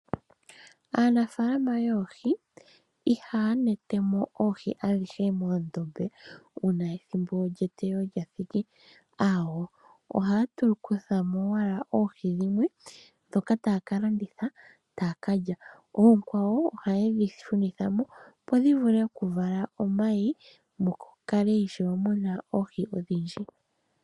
Aanafaalama yoohi ihaya nete mo oohi adhihe moondombe uuna ethimbo lyeteyo lya thiki, aawo, ohaya kutha mo owala oohi dhimwe, ndhoka taya ka landitha, taya ka lya. Oonkwawo ohaye dhi shunitha mo, opo dhi vule okuvala omayi mu kale ishewe mu na oohi odhindji.